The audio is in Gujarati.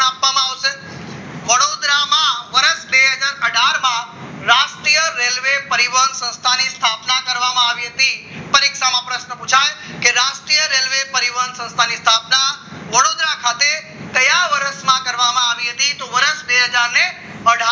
રાષ્ટ્રીય રેલવે પરિવાર સંસ્થાની યોજના કરવામાં આવી હતી પરીક્ષામાં પ્રશ્ન પુછાય કે રાષ્ટ્રીય રેલવે પરિવહન સંસ્થાની સ્થાપના વડોદરા ખાતે કયા વર્ષમાં કરવામાં આવી હતી તો વર્ષ બે હજાર ને અઢાર